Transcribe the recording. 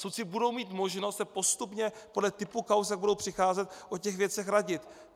Soudci budou mít možnost se postupně podle typu kauz, jak budou přicházet, o těch věcech radit.